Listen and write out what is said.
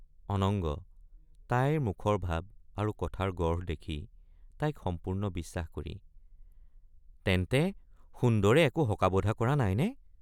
অনঙ্গ— তাইৰ মুখৰ ভাব আৰু কথাৰ গঢ় দেখি তাইক সম্পূৰ্ণ বিশ্বাস কৰি তেন্তে সুন্দৰে একো হকা বধা কৰা নাইনে?